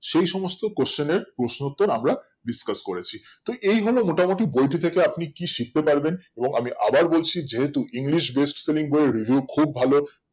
সেই সমস্ত question এর প্রশ্ন উত্তর আমরা discuss করেছি তো এই হলো মোটা মতি বইটি থেকে আপনি কি শিখতে পারবেন এবং আমি আবার বলছি যেহুতু english best spelling বই এর review খুব ভালো